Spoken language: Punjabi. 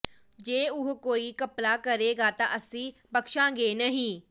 ਜੇ ਉਹ ਕੋਈ ਘਪਲਾ ਕਰੇਗਾ ਤਾਂ ਅਸੀਂ ਬਖ਼ਸ਼ਾਂਗੇ ਨਹੀਂ